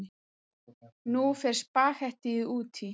Nú fer spaghettíið út í.